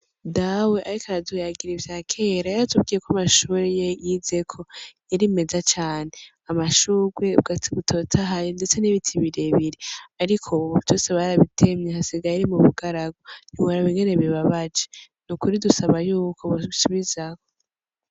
Dawe ariko aratuyagira ivyakera yaratubwiye ko aya mashure ariyo Yizeko yari meza cane amashurwe ubwatsi butotahaye ndetse n' ibiti birebire ariko ubu vyose barabitemye hasigaye ari mubugaragwa ntiworaba ingene bibabaje nukuri dusaba yuko bo bisubizaho.